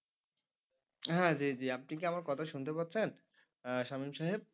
হ্যাঁ জি জি আপনি কি আমার কথা শুনতে পাচ্ছেন আহ সামীম সাহেব?